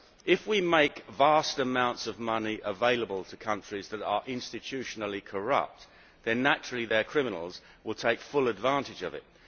If we make vast amounts of money available to countries that are institutionally corrupt, then naturally their criminals will take full advantage of it.